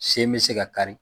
Sen be se ka kari